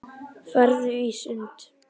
Farðu í sund.